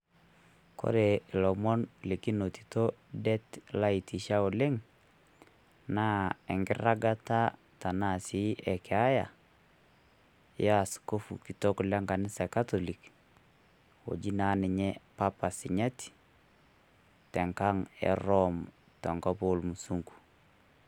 Kore lomoon likinotito deet laiitisha oleng naa enkirang'ata tanaa sii ekeyaa ya askofu kitook e nkanisa e katoli oji naa ninye papa sinyaati te nkaang' e Rome to nkop o musungu.